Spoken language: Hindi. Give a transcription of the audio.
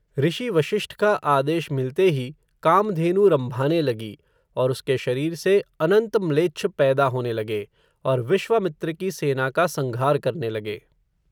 ऋषि वषिष्ठ का आदेश मिलते ही, कामधेनु रम्भाने लगी, और उसके शरीर से, अनन्त म्लेच्छ पैदा होने लगे, और विश्वामित्र की सेना का संघार करने लगे